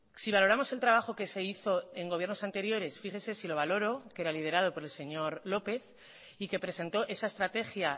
si valoramos el trabajo que se hizo en gobiernos anteriores fíjese si lo valoró que era liderado por el señor lópez y que presentó esa estrategia